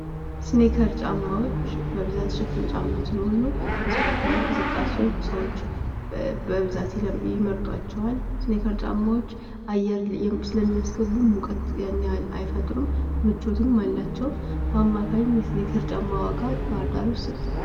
እስኒከር ጫሞዎች በብዛት ሽፍን ጫማ ስለሆኑ ለስፖርታዊ እንቅስቃሴዎች ሰዎች በብዛት ይመርጧቸዋል ። እስኒከር ጫማዎች አየር ስለሚያስገቡ ሙቀት ያን ያክል አይፈጥሩም ። ምቾትም አላቸው ። በአማካኝ እስኒከር ጫማ ዋጋ ባህርዳር ውስጥ ስንት ነው ?